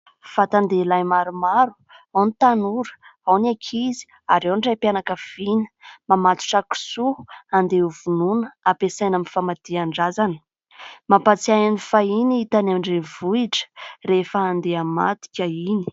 Vatan-dehilahy maromaro : ao ny tanora, ao ny ankizy ary ao ny Raim-pianakaviana mamatotra kisoa handeha hovonoina ampiasaina amin'ny famadihan-drazana. Mampahatsiahy ny fahiny tany an-drenivohitra rehefa handeha hamadika iny.